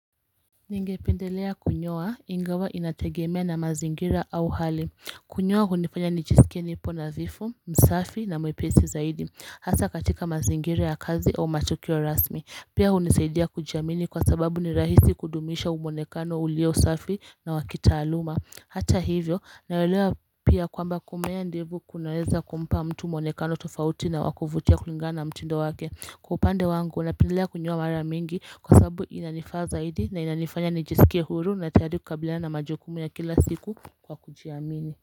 Ningependelea kunyoa ingawa inategemea na mazingira au hali Kunyoa hunifanya nijisikie nipo nadhifu, msafi na mwepesi zaidi Hasa katika mazingira ya kazi au matukio rasmi Pia hunisaidia kujiamini kwa sababu ni rahisi kudumisha mwonekano ulio safi na wakitaaluma Hata hivyo, naelea pia kwamba kumea ndevu kunaweza kumpa mtu mwonekano tofauti na wa kuvutia kulingana mtindo wake kwa upande wangu napendelea kunyoa mara mingi kwa sababu inanifaa zaidi na inanifanya nijisikie huru na tayari kukabiliana na majukumu ya kila siku kwa kujiamini.